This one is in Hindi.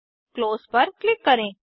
क्लोज पर क्लिक करें